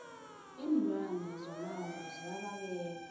iinlwane zomango ziya babeka